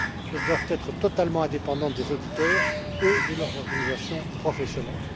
Elles doivent être totalement indépendantes des auditeurs et de leurs organisations professionnelles.